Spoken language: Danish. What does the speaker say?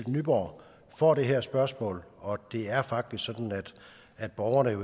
nyborg får det her spørgsmål og det er faktisk sådan at borgerne